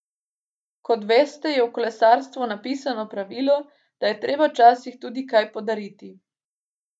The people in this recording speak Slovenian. Kot veste, je v kolesarstvu nepisano pravilo, da je treba včasih tudi kaj podariti.